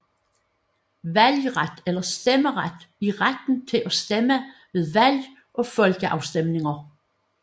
Valgret eller stemmeret er retten til at stemme ved valg og folkeafstemninger